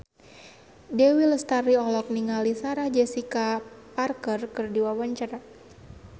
Dewi Lestari olohok ningali Sarah Jessica Parker keur diwawancara